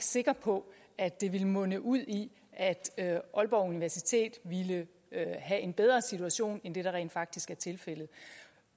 sikker på at det ville munde ud i at aalborg universitet ville have en bedre situation end den der rent faktisk er tilfældet